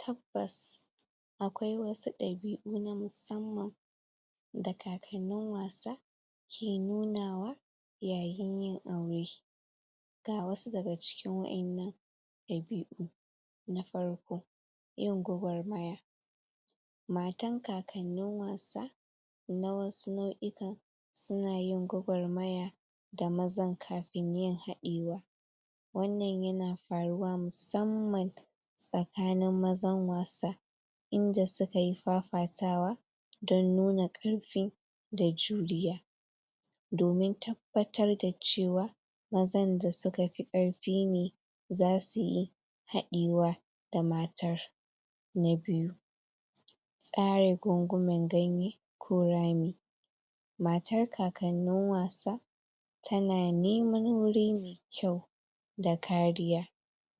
Tabbas akwai wasu dabiu na musamman da kakanin wasa ke nunawa yayin yin aure ga wasu da ga cikin waƴennan dabiu na farko yin gwagwarmaya matan kakannin wasa na wasu nauyukan su na yin gwagwarmaya da mazan kafin yin haɗewa wannan ya na faruwa musamman tsakanin mazan wasa, inda su ka yi fafatawa don nuna karfi, da juliya domin tabbatar da cewa mazan da su ka fi karfi ne, za su yi haɗiwa da matar, na biyu tsari gungumen ganye, ko rami matar kakanin wasa ta na neman wuri ne mai kyau da kariya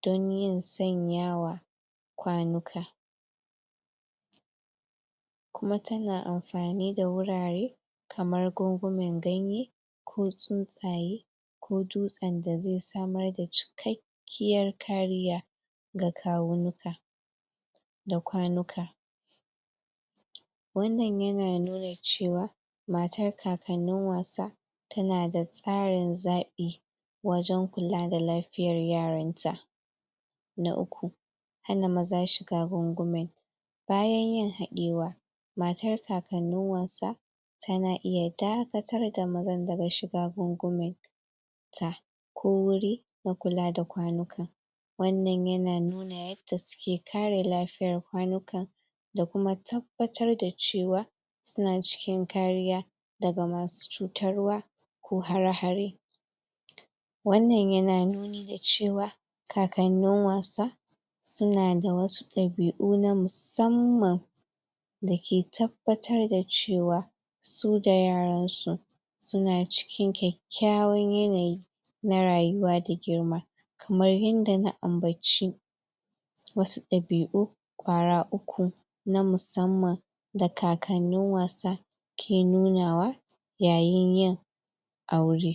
don yin tsanyawa kwanuka kuma ta na amfani da wurare kamar gungunmen ganye ko tsutsaye ko dutsen da zai samar da cikkakiyar kariya ga kawunuka da kwanuka wannan ya na nuna cewa, matar kakanin wasa ta na da tsarin zabi wajen kulla da lafiyar yaran ta Na uku, hana maza shiga gungunmin bayan yin hadewa, matar kakanin wasa ta na iya dakattar da mazan da ga shiga gungunmin ta, ko wuri da kula da kwanuka wannan ya na nuna yadda su ke kare lafiyar kwanukan da kuma tabbatar da cewa su na cikin kariya, da ga masu cutarwa ko hara-hare wannan ya na nuni da cewa kakanin wasa su na da wasu dabiu na musamman da ke tabbatar da cewa su da yaran su su na cikin kyakyawan yanayi na rayuwa da girma kamar yadda na ambaci wasu dabiu, kwara uku na musamman da kakanin wasa ke nunawa yayin yin aure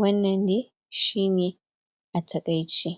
wannan ne, shi ne a takaici.